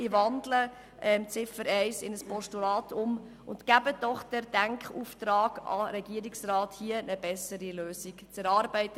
Ich wandle Ziffer 1 in ein Postulat und bitte Sie, den Denkauftrag an den Regierungsrat zu geben, hier eine bessere Lösung zu erarbeiten.